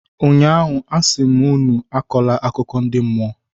ụnyaahụ, a sị m unu akọla akụkọ ndi mmụọ!